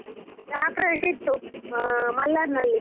ಗೃಪ್ರವೇಶ ಇತ್ತು, ಆ ಮಲ್ಲಾರ್ನಲ್ಲಿ.